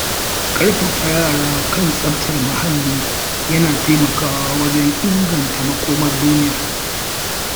ƙarfafa yara kan tsaftar muhalli yana taimakawa wajen inganta makomar duniya.